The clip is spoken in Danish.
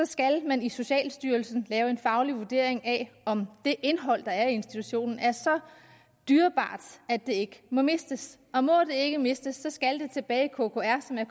skal man i socialstyrelsen lave en faglig vurdering af om det indhold der er i institutionen er så dyrebart at det ikke må mistes og må det ikke mistes skal det tilbage i kkr